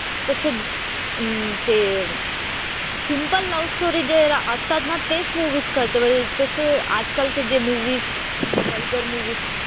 तसे अं ते सिम्पल लव्ह स्टोरी जे असतात ना तेच मुव्हीज करते म्हणजे तसे आजकालचे जे मुव्हीज व्हल्गर मुव्हीज,